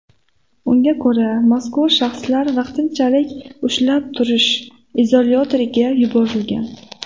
Unga ko‘ra, mazkur shaxslar vaqtinchalik ushlab turish izolyatoriga yuborilgan.